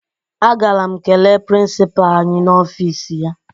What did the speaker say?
Agara m kelee prịnsịpaa anyị n'ọfiisi ya